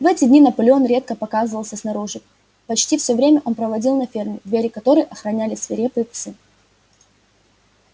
в эти дни наполеон редко показывался снаружи почти все время он проводил на ферме двери которой охраняли свирепые псы